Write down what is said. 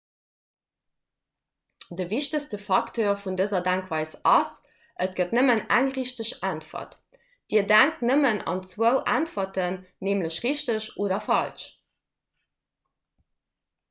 de wichtegste facteur vun dëser denkweis ass et gëtt nëmmen eng richteg äntwert dir denkt nëmmen un zwou äntwerten nämlech richteg oder falsch